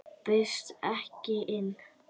Og bauðstu honum ekki inn?